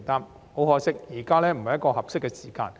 不過，很可惜，現在不是合適的時間。